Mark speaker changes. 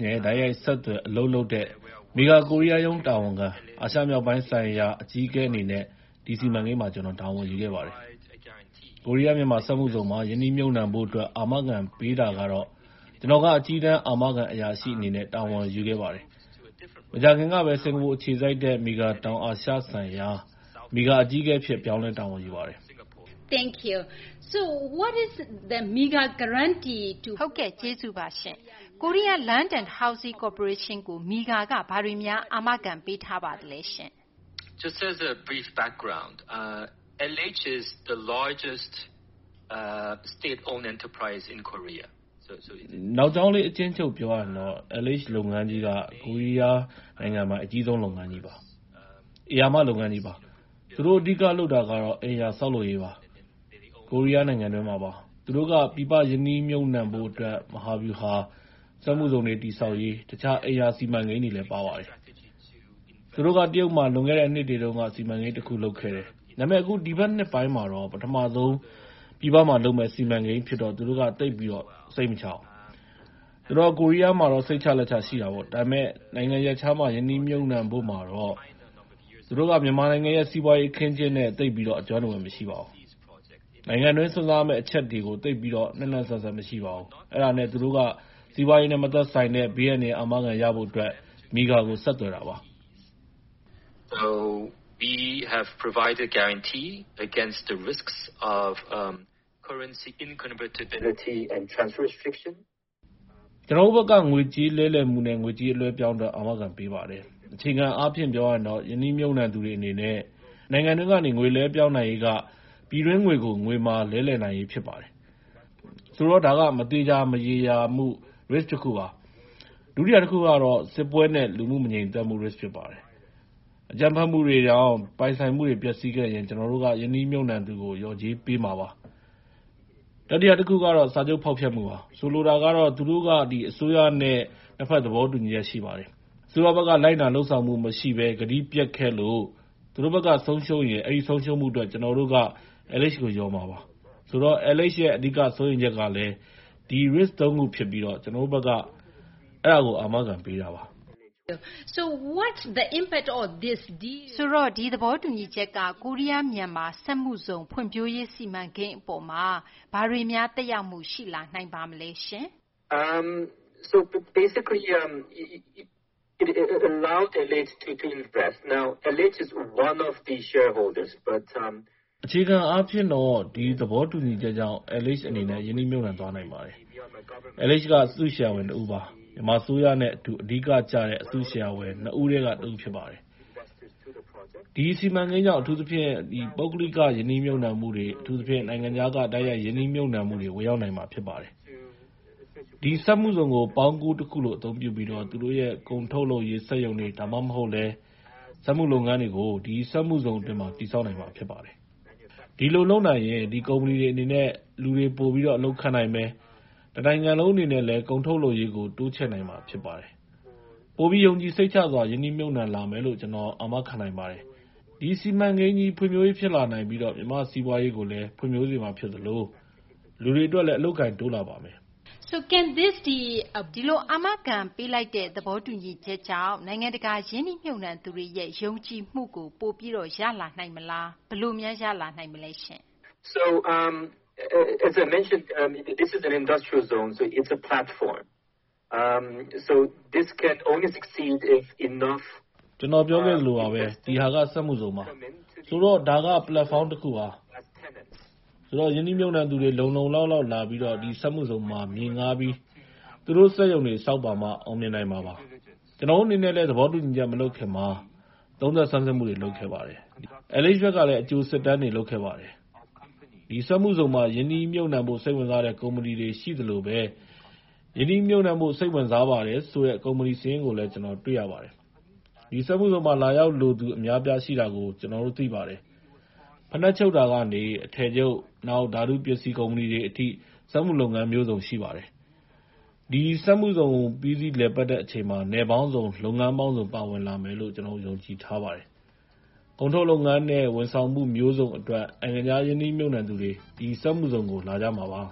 Speaker 1: နဲ့ တိုက်ရိုက် ဆက်သွယ် အလုပ်လုပ်တဲ့ MIGA ကိုရီးယား ရုံး တာဝန်ခံနဲ့ အာရှမြောက်ပိုင်း ဆိုင်ရာ အကြီးအကဲ အနေနဲ့ ဒီ စီမံကိန်းမှာ ကျနော် တာဝန်ယူခဲ့ပါတယ်။ ကိုရီးယား - မြန်မာ စက်မှုဇုန်မှာ ရင်းနှီးမြှုပ်နှံဖို့ အတွက် အာမခံ ပေးတာကတော့ ကျနော်က အကြီးတန်း အာမခံ အရာရှိ အနေနဲ့ တာဝန်ယူခဲ့ပါတယ်။ မကြာခင်ကဘဲ စကာၤပူ အခြေစိုက်တဲ့ MIGA တောင်အာရှ ဆိုင်ရာ MIGA အကြီးအကဲ အဖြစ် ပြောင်းလဲ တာဝန်ယူပါတယ်။
Speaker 2: ကျေးဇူးပါ။ Korea Land and Housing Corporation ကို MIGA က ဘာတွေ အာမခံ ထားပါသလဲ။
Speaker 1: နောက်ကြောင်းလေး အကျဉ်းချုံးပြောရရင် L.H လုပ်ငန်းကြီးက ကိုရီးယား နိုင်ငံပိုင် အကြီးဆုံး လုပ်ငန်းကြီးပါ။ ဧရာမ လုပ်ငန်းကြီးပါ။ သူတို့ အဓိက လုပ်တာကတော့ အိမ်ယာ ဆောက်လုပ်ရေးပါ ကိုရီးယားနိုင်ငံတွင်းမှာပါ။ သူတို့က ပြည်ပမှာ ရင်းနှီးမြှုပ်နှံဖို့ အတွက် မဟာဗျူဟာမှာ စက်မှုဇုန်တွေ တည်ဆောက်ရေး၊ တခြား အိမ်ယာ စီမံကိန်းတွေလည်း ပါပါတယ်။ သူတို့က တရုတ်မှာ လွန်ခဲ့တဲ့ နှစ်တွေတုန်းက စီမံကိန်း တခု လုပ်ခဲ့ပါတယ်။ ဒါပေမယ့် အခု ဒီဘက် နှစ်ပိုင်းမှာတော့ ပထမဆုံး ပြည်ပမှာ လုပ်မယ့် စီမံကိန်း ဖြစ်တော့ သူတို့က သိပ်ပြီး စိတ်မချ ပါဘူး။ သူတို့က ကိုရီးယားမှာတော့ စိတ်ချလက်ချ ရှိတာပေါ့။ ဒါပေမယ့် နိုင်ငံရပ်ခြားမှာ ရင်းနှီးမြှုပ်နှံဖို့မှာတော့ သူတို့က မြန်မာနိုင်ငံရဲ့ စီးပွားရေး အခင်းအကျင်းနဲ့တော့ သိပ်ပြီး အကျွမ်းတဝင် မရှိပါဘူး။ နိုင်ငံတွင်း စွန့်စားရမယ့် အချက်တွေကို သိပ်ပြီး နှံ့နှံ့စပ်စပ် မရှိပါဘူး။ အဲဒါနဲ့ သူတို့က စီးပွားရေးနဲ့ မသက်ဆိုင်တဲ့ ဘေးအန္တရာယ် အာမခံ ရဖို့ အတွက် MIGA ကို ဆက်သွယ်တာပါ။ ကျနော်တို့ ဘက်က ငွေကြေး လဲလှယ်မှုနဲ့ ငွေကြေး အလွှဲအပြောင်း အတွက် အာမခံပေးပါတယ်။ အခြေခံ အားဖြင့် ပြောရရင်တော့ ရင်းနှီးမြှုပ်နှံသူတွေ အနေနဲ့ နိုင်ငံတွင်းကနေ ငွေလွှဲပြောင်း နိုင်ရေးက ပြည်တွင်း ငွေကို ငွေမာ လဲလှယ်နိုင်ရေး ဖြစ်ပါတယ်။ ဆိုတော့ ဒါက မသေချာ မရေရာမှု risk တခုပါ။ ဒုတိယ တခုကတော့ စစ်ပွဲနဲ့ လူမှု မငြိမ်သက်မှု risk ဖြစ်ပါတယ်။ အကြမ်းဖက်မှုတွေကြောင့် ပိုင်ဆိုင်မှုတွေ ပျက်စီးခဲ့ရင် ကျနော်တို့က ရင်းနှီးမြှုပ်နှံသူကို လျော်ကြေးပေးမှာပါ။ တတိယ တခုကတော့ စာချုပ် ဖောက်ဖျက်မှုပါ။ ဆိုလိုတာကတော့ သူတို့က အစိုးရနဲ့ နှစ်ဘက် သဘောတူညီချက် ရှိပါတယ်။ အစိုးဘက်က လိုက်နာ လုပ်ဆောင်မှု မရှိဘဲ ကတိပျက်ခဲ့လို့ သူတို့ ဘက်က ဆုံးရှုံးရရင် အဲဒီ ဆုံးရှုံးမှု အတွက် ကျနော်တို့က LH ကို လျော်မှာပါ။ ဆိုတော့ LH ရဲ့ အဓိက စိုးရိမ်ချက်ကလည်း ဒီ risks သုံးခု ဖြစ်ပြီး ကျနော်တို့ဘက်က အဲဒါကို အာမခံ ပေးတာပါ။
Speaker 2: ဆိုတာ့ ဒီသဘောတူညီချက်က ကိုရီးယား မြန်မာ စက်မှုဇုံ ဖွံ့ဖြိုးရေး စီမံကိန်းပေါ်မှာ သက်ရောက်မှု ဘာတွေ ရှိမလဲ။
Speaker 1: အခြေခံအားဖြင့်တော့ ဒီသဘောတူညီချက်ကြောင့် LH အနေနဲ့ ရင်းနှီးမြှုပ်နှံသွားနိုင်တယ်။ LH က အစုရှယ်ယာဝင် တဦးပါ မြန်မာအစိုးရနဲ့ အတူ အဓိက ကျတဲ့ အစုရှယ်ယာဝင် ၂ ဦးထဲက တဦး ဖြစ်ပါတယ်။ ဒီစီမံကိန်းကြောင့် အထူးသဖြင့် ပုဂ္ဂလိက ရင်းနှီးမြှုပ်နှံမှုတွေ အထူးသဖြင့် နိုင်ငံခြားက တိုက်ရိုက် ရင်းနှီးမြှုပ်နှံမှုတွေ ဝင်ရောက်နိုင်မှာ ဖြစ်ပါတယ်။ ဒီ စက်မှုဇုန်ကို ပေါင်းကူးတခုလို အသုံးပြုပြီး သူတို့ရဲ့ ကုန်ထုတ်လုပ်ရေး စက်ရုံတွေ ဒါမှမဟုတ်လည်း စက်မှုလုပ်ငန်းတွေကို ဒီ စက်မှုဇုန် အတွင်း တည်ဆောက်နိုင်မှာ ဖြစ်ပါတယ်။ ဒီလို လုပ်နိုင်ရင် ဒီကုမ္ပဏီတွေ အနေနဲ့ လူတွေ ပိုပြီး အလုပ်ခန့်နိုင်မယ်၊ တနိုင်ငံလုံး အနေနဲ့လည်း ကုန်ထုတ်လုပ်ရေးကို တိုးချဲ့နိုင်မှာ ဖြစ်ပါတယ်။ ပိုပြီး ယုံကြည်စိတ်ချစွာနဲ့ ရင်းနှီးမြှုပ်နှံလာမယ်လို့ ကျနော် အာမခံနိုင်ပါတယ်။ ဒီစီမံကိန်းကြီး ဖွံ့ဖြိုးရေး ဖြစ်လာနိုင်ပြီး မြန်မာ့ စီးပွားရေးကိုလည်း ဖွံ့ဖြိုးစေမှာ ဖြစ်သလို လူတွေ အတွက်လည်း အလုပ်အကိုင်တွေ တိုးလာပါမယ်။
Speaker 2: ဒီအာမခံ ပေးလိုက်တဲ့ သဘောတူညီချက်ကြောင့် နိုင်ငံတကာ ရင်းနှီးမြှုပ်နှံသူတွေရဲ့ ယုံကြည်မှုကို ပိုပြီး ရနိုင်မှာလား။ ဘယ်လိုများ ရနိုင်မလဲရှင့်။
Speaker 1: သေချာတာပေါ့ဗျာ။ ကျနော် ပြောခဲ့သလိုပါဘဲ ဒီဟာက စက်မှုဇုန်ပါ ဆိုတော့ ဒါက platform တခုပါ။ ဆိုတော့ ရင်းနှီးမြှုပ်နှံသူတွေ လုံလုံလောက်လောက်လာပြီး ဒီစက်မှုဇုန်မှာ မြေငှားပြီး သူတို့ စက်ရုံတွေ ဆောက်ပါမှ အောင်မြင်နိုင်မှာပါ။ ကျနော်တို့ အနေနဲ့လည်း သဘောတူညီချက် မလုပ်ခင်မှာ သုံးသပ် ဆန်းစစ်မှု လုပ်ခဲ့ပါတယ်။ LH ဘက်ကလည်း အကြို စစ်တမ်းတွေ လုပ်ခဲ့ပါတယ်။ ဒီစက်မှုဇုန်မှာ ရင်းနှီးမြှုပ်နှံဖို့ စိတ်ဝင်စားတဲ့ ကုမ္ပဏီတွေ ရှိသလိုဘဲ ရင်းနှီးမြှုပ်နှံဖို့ စိတ်ဝင်စားပါတယ်ဆိုတဲ့ ကုမ္ပဏီ စာရင်းကိုလည်း ကျနော်တို့ တွေ့ရပါတယ်။ ဒီ စက်မှုဇုန်မှာ လာရောက်လိုသူ အများအပြား ရှိတာကို ကျနော်တို့ သိပါတယ်။ ဖိနပ်ချုပ်တာကနေ အထည်ချုပ် နောက် ဓာတုပစ္စည်း ကုမ္ပဏီတွေ အထိ စက်မှုလုပ်ငန်း မျိုးစုံ ရှိပါတယ်။ ဒီ စက်မှုဇုန် ပြီးစီး လည်ပတ်တဲ့ အချိန်မှာ နယ်ပေါင်းစုံ လုပ်ငန်းပေါင်းစုံ ပါဝင်လာမယ်လို့ ကျနော်တို့က ယုံကြည်ထားပါတယ်။ ကုန်ထုတ်လုပ်ငန်းနဲ့ ဝန်ဆောင်မှု မျိုးစုံ အတွက် နိုင်ငံခြား ရင်းနှီးမြှုပ်နှံသူတွေ ဒီ စက်မှုဇုန်ကို လာကြမှာပါ